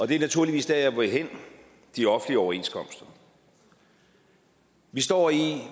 det er naturligvis der jeg vil hen de offentlige overenskomster vi står i